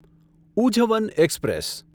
ઉઝવન express